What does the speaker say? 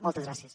moltes gràcies